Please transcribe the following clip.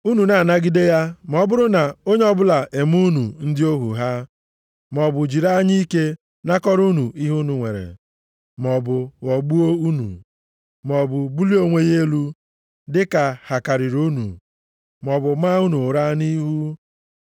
Unu na-anagide ya ma ọ bụrụ na onye ọbụla eme unu ndị ohu ha, maọbụ jiri anya ike nakọrọ unu ihe unu nwere, maọbụ ghọgbuo unu, maọbụ bulie onwe ya elu dịka ha karịrị unu, maọbụ maa unu uraa nʼihu.